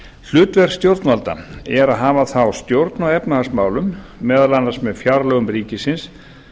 hlutverk stjórnvalda er að hafa þá stjórn á efnahagsmálum meðal annars með fjárlögum ríkisins